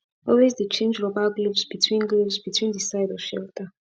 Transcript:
always de change rubber gloves between gloves between de side of shelter